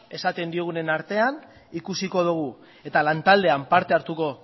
esaten diogunen artean ikusiko dugu eta lantaldean parte hartuko